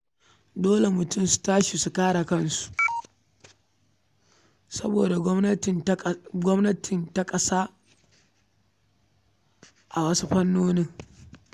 Dole mutane su tashi su kare kansu saboda gwamnati ta kasa a wasu fannonin.